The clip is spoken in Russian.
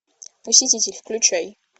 посетитель включай